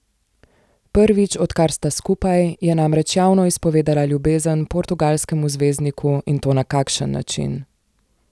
Prvič, odkar sta skupaj, je namreč javno izpovedala ljubezen portugalskemu zvezdniku in to na kakšen način!